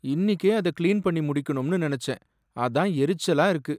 இன்னிக்கே அதை கிளீன் பண்ணி முடிக்கணும்னு நினைச்சேன், அதான் எரிச்சலா இருக்கு.